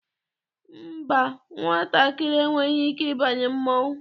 Mba, nwatakịrị enweghị ike ịbanye mmọnwụ.